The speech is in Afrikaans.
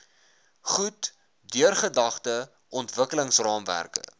goed deurdagte ontwikkelingsraamwerke